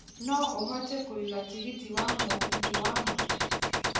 no ũhote kuĩga tigiti wa mũgithi wa maitũ